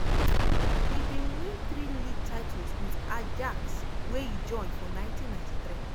e bin win three league titles wit ajax wey e join for 1993.